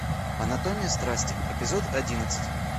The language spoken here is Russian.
анатомия страсти эпизод одиннадцать